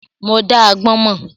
Mo dá agbọ́n mọ́.